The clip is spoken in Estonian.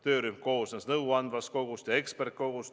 Töörühm koosnes nõuandvast kogust ja eksperdikogust.